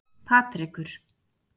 Patrekur